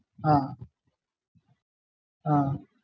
ആഹ് ആഹ്